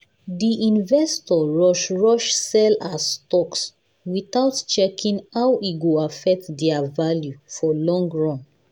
the investor rush rush sell their stocks without checking how e go affect their value for long run